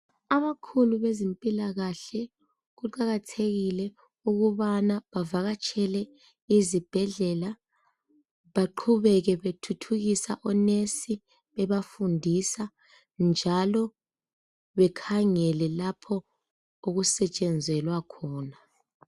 Abakhulu bezempilakahle kuqakathekile ukubana bavakatshele izibhedlela beqhubeke bethuthukisa onesi bebafundisa njalo bekhangele lapho okusetshenzelwa khona.